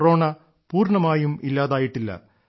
corona പൂർണ്ണമായും ഇല്ലാതായിട്ടില്ല